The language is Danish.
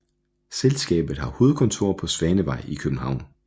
Selskabet har hovedkontor på Svanevej i København